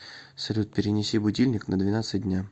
салют перенеси будильник на двенадцать дня